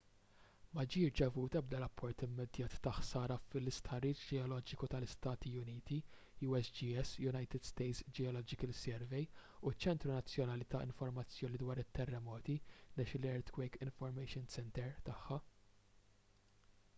ma ġie rċevut ebda rapport immedjat ta’ ħsara mill-istħarriġ ġeoloġiku tal-istati uniti usgs - united states geological survey u ċ-ċentru nazzjonali ta’ informazzjoni dwar it-terremoti national earthquake information center” tagħha